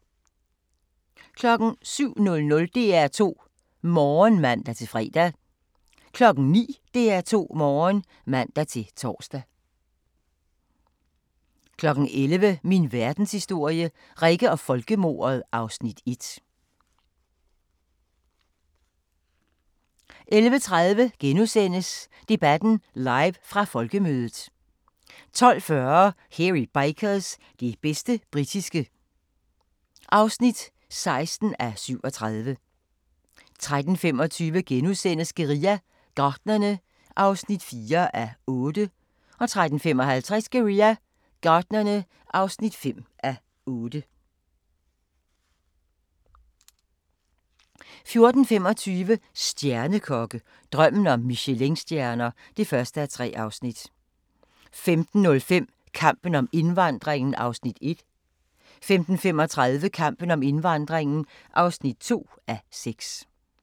07:00: DR2 Morgen (man-fre) 09:00: DR2 Morgen (man-tor) 11:00: Min Verdenshistorie – Rikke og folkemordet (Afs. 1) 11:30: Debatten live fra folkemødet * 12:40: Hairy Bikers – det bedste britiske (16:37) 13:25: Guerilla Gartnerne (4:8)* 13:55: Guerilla Gartnerne (5:8) 14:25: Stjernekokke – drømmen om Michelinstjerner (1:3) 15:05: Kampen om indvandringen (1:6) 15:35: Kampen om indvandringen (2:6)